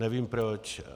Nevím proč.